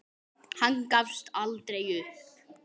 Hann gafst aldrei upp.